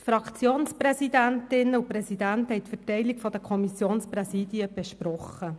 Die Fraktionspräsidentinnen und -präsidenten haben die Verteilung der Kommissionspräsidien besprochen.